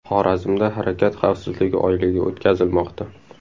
Xorazmda harakat xavfsizligi oyligi o‘tkazilmoqda .